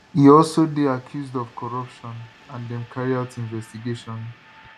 e also dey accused of corruption and dem carry out investigation